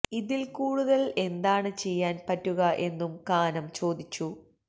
ഇതില് കൂടുതല് എന്താണ് ചെയ്യാന് പറ്റുക എന്നും കാനം ചോദിച്ചു